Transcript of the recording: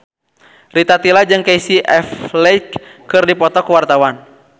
Rita Tila jeung Casey Affleck keur dipoto ku wartawan